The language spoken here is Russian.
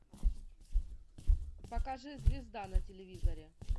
покажи звезда на телевизоре